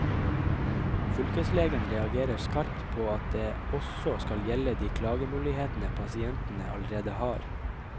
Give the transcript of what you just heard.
Fylkeslegen reagerer skarpt på at det også skal gjelde de klagemulighetene pasientene allerede har.